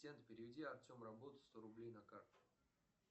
переведи артем работа сто рублей на карту